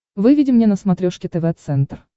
выведи мне на смотрешке тв центр